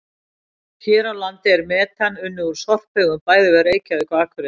Hér á landi er metan unnið úr sorphaugum bæði við Reykjavík og Akureyri.